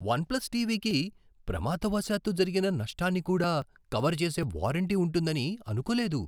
One plus టీవీకి ప్రమాదవశాత్తు జరిగిన నష్టాన్ని కూడా కవర్ చేసే వారంటీ ఉంటుందని అనుకోలేదు.